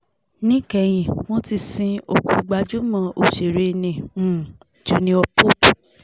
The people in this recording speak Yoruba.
níkẹyìn wọ́n ti sin òkú gbajúmọ̀ òṣèré ní um junior pope